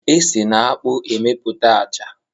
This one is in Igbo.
E si n'akpụ emeputa a acha.